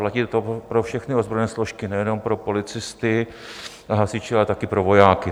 Platí to pro všechny ozbrojené složky, nejenom pro policisty a hasiče, ale taky pro vojáky.